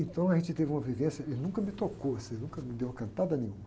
Então a gente teve uma vivência, ele nunca me tocou, assim, nunca me deu uma cantada, nenhuma.